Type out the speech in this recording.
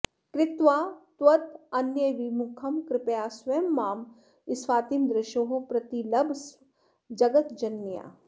कृत्वा त्वदन्यविमुखं कृपया स्वयं मां स्फातिं दृशोः प्रतिलभस्व जगज्जनन्याः